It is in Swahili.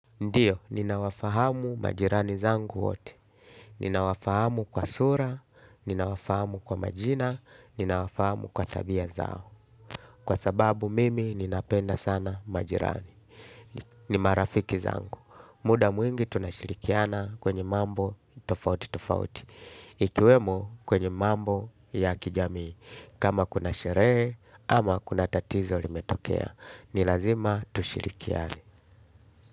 Ndiyo, ninawafahamu majirani zangu wote. Ninawafahamu kwa sura, ninawafahamu kwa majina, ninawafahamu kwa tabia zao. Kwa sababu mimi ninapenda sana majirani. Ni marafiki zangu. Muda mwingi tunashirikiana kwenye mambo tofauti tofauti. Ikiwemo kwenye mambo ya kijamii. Kama kuna sheree ama kuna tatizo limetokea nilazima tushirikiane.